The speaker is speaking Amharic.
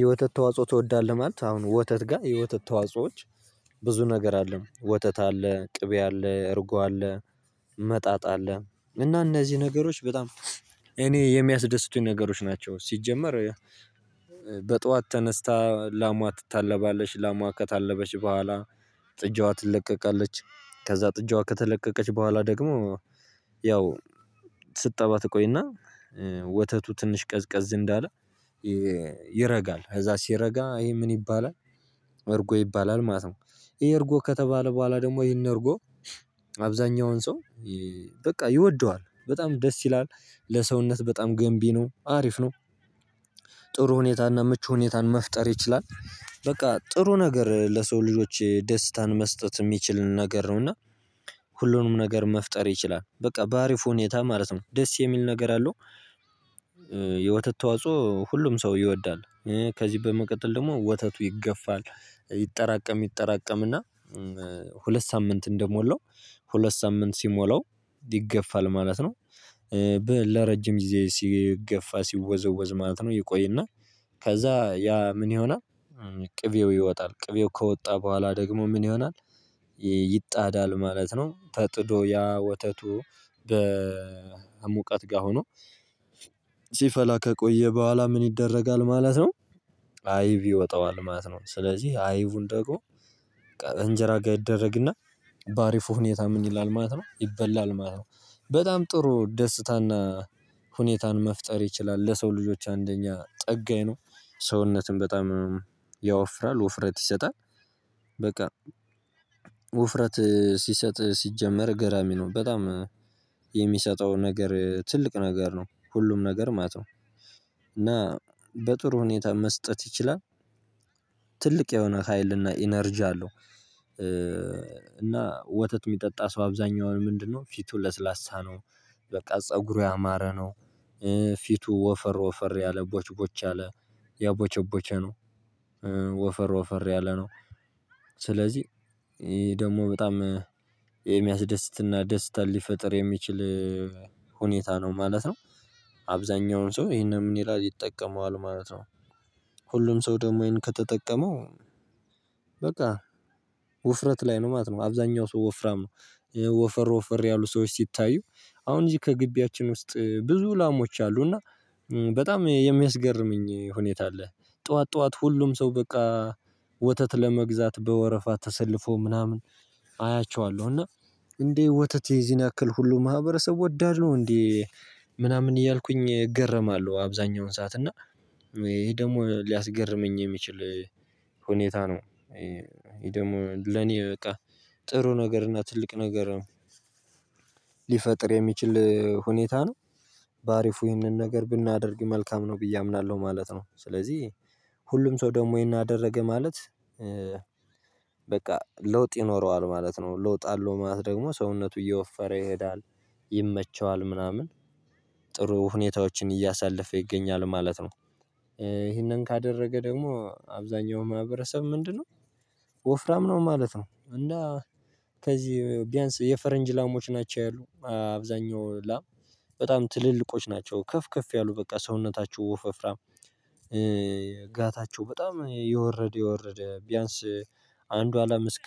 የወተት ተዋጽኦ ትወዳለህ ማለት አሁን ወተት ጋር የወተት ተዋጽኦዎች ብዙ ነገር አለ። ወተት አለ፣ ቅቤ አለ፣ እርጎ አለ፣ መጣጣ አለ። እና እነዚህ ነገሮች በጣም እኔ የሚያስደስቱኝ ነገሮች ናቸው። ሲጀመር በጧት ተነስታ ላሟ ትታለባለች። ላሟ ከታለበች በኋላ ጥጃዋ ትለቀቃለች። ከዛ ጥጃዋ ከተለቀቀች በኋላ ደግሞ ያው ስትጠባ ተቆይና ወተቱ ትንሽ ቀዝቀዝ እንዳለ ይረጋል። ከዛ ሲረጋ ይሄ ምን ይባላል? እርጎ ይባላል ማለት ነው። ይሄ እርጎ ከተባለ በኋላ ደግሞ ይሄን እርጎ አብዛኛውን ሰው በቃ ይወደዋል በጣም ደስ ይላል። ለሰውነት በጣም ገንቢ ነው። አሪፍ ነው። ጥሩ ሁኔታና ምቹ ሁኔታን መፍጠር ይችላል። በቃ ጥሩ ነገር ለሰው ልጆች ደስታን መስጠት የሚችል ነገር ነው። እና ሁሉንም ነገር መፍጠር ይችላል። በቃ በአሪፍ ሁኔታ ማለት ነው። ደስ የሚል ነገር አለው። የወተት ተዋጽኦ ሁሉም ሰው ይወዳል። ከዚህ በመቀጠል ደግሞ ወተቱ ይገፋል። ይጠራቀም ይጠራቀምና ሁለት ሳምንት እንደሞላው ሁለት ሳምንት ሲሞላው ይገፋል ማለት ነው። ለረጅም ጊዜ ሲገፋ ሲወዘወዝ ማለት ነው ይቆይና ከዛ ያ ምን ይሆናል? ቅቤው ይወጣል። ቅቤው ከወጣ በኋላ ደግሞ ምን ይሆናል ይጣዳል ማለት ነው። ተጥዶ ያ ወተቱ በሙቀት ጋር ሆኖ ሲፈላ ከቆየ በኋላ ምን ይደረጋል ማለት ነው? አይብ ይወጣዋል ማለት ነው ስለዚህ አይቡን ደግሞ እንጀራ ጋር ይደረግና በአሪፉ ሁኔታ ምን ይላል ማለት ነው ይበላል ማለት ነው። በጣም ጥሩ ደስታና ሁኔታን መፍጠር ይችላል። ለሰው ልጆች አንደኛ ጠጋኝ ነው። ሰውነትን በጣም ያወፍራል ውፍረት ይሰጣል። በቃ ውፍረት ሲሰጥ ሲጀመር ገራሚ ነው። በጣም የሚሰጠው ነገር ትልቅ ነገር ነው። ሁሉም ነገር ማለት ነው። እና በጥሩ ሁኔታ መስጠት ይችላል። ትልቅ የሆነ ሀይልና ኢነርጂ አለው። እና ወተት የሚጠጣ ሰው አብዛኛውን ምንድነው ፊቱ ለስላሳ ነው። በቃ ፀጉሩ ያማረ ነው። ፊቱ ወፈር ወፈር ያለ ቦችቦች ያለ ያቦቸቦቸ ነው። ወፈር ወፈር ያለ ነው። ስለዚህ ደግሞ በጣም የሚያስደስትና ደስታን ሊፈጥር የሚችል ሁኔታ ነው ማለት ነው። አብዛኛውን ሰው ይሄንን ምን ይላል ይጠቀመዋል ማለት ነው። ሁሉም ሰው ደግሞ ይሄን ከተጠቀመው በቃ ወፍረት ላይ ነው ማለት ነው። አብዛኛው ሰው ወፍራም ወፈር ወፈር ያሉ ሰዎች ሲታዩ አሁን እዚህ ከግቢያችን ውስጥ ብዙ ላሞች አሉ። እና በጣም የሚያስገርመኝ ሁኔታ አለ። ጠዋት ጠዋት ሁሉም ሰው በቃ ወተት ለመግዛት በወረፋ ተሰልፎ ምናምን አያቸዋለሁ። እና እንዴ ወተት የዚህን ያክል ሁሉ ማህበረሰብ ወዳድ ነው እንዴ ምናምን እያልኩኝ እገረማለሁ አብዛኛውን ሰዓት። እና ይሄ ደግሞ ሊያስገርመኝ የሚችል ሁኔታ ነው። ይሄ ደግሞ ለኔ በቃ ጥሩ ነገር እና ትልቅ ነገር ሊፈጥር የሚችል ሁኔታ ነው። በአሪፉ ይህንን ነገር ብናደርግ መልካም ነው ብዬ አምናለሁ ማለት ነው። ስለዚህ ሁሉም ሰው ደግሞ ይሄን አደረገ ማለት በቃ ለውጥ ይኖረዋል ማለት ነው። ለውጥ አለው ማለት ደግሞ ሰውነቱ እየወፈረ ይሄዳል፤ ይመቸዋል ምናምን ጥሩ ሁኔታዎችን እያሳለፈ ይገኛል ማለት ነው። ይሄንን ካደረገ ደግሞ አብዛኛው ማህበረሰብ ምንድነው? ወፍራም ነው ማለት ነው። እና ከዚህ ቢያንስ የፈረንጅ ላሞች ናቸው ያሉ። አብዛኛው ላም በጣም ትልልቆች ናቸው። ከፍ ከፍ ያሉ በቃ ሰውነታቸው ወፍራም ጋታቸው በጣም የወረደ የወረደ ቢያንስ አንዷ አላም እስከ